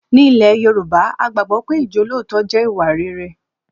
Ní ilẹ̀ Yorùbá, a gbàgbọ́ pé ijolootọ jẹ́ ìwà rere